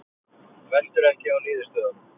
Veltur ekki á niðurstöðunum